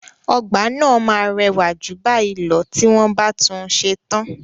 Ọgbà náà máa rẹwà jù báyìí lọ tí wọ́n bá tún un ṣe tán.